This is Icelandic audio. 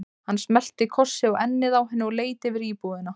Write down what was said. Hann smellti kossi á ennið á henni og leit yfir íbúðina.